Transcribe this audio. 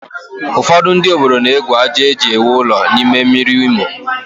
Ụfọdụ ndị obodo na-egwu àjà e ji ewu ụlọ n'ime mmiri Imo